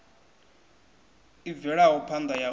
i bvelaho phanda ya u